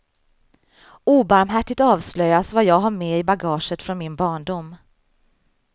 Obarmhärtigt avslöjas vad jag har med i bagaget från min barndom.